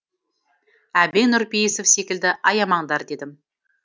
әбең нұрпейісов секілді аямаңдар дедім